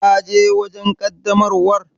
Ka je wajen ƙaddamarwar?